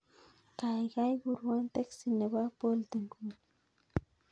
Kuurwon teksi nebo bolt inguni